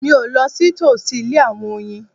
Mi o lọ sí tòsí ilé àwọn oyin